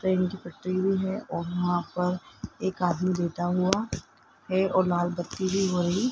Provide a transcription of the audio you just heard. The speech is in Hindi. ट्रेन की पटरी भी है और वहां पर एक आदमी लेटा हुआ है और लाल बत्ती भी वहीं --